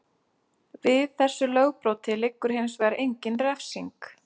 Við þessu lögbroti liggur hins vegar engin refsing.